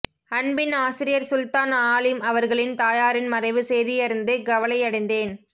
அன்பின் ஆசிரியர் சுல்தான் ஆலிம் அவர்களின் தாயாரின் மறைவு செய்தியறிந்து கவலையடைந்தேன்